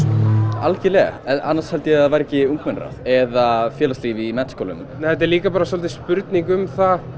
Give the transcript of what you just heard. algjörlega annars held ég að það væri ekki ungmennaráð eða félagslíf í menntaskólum en þetta er líka bara spurning um það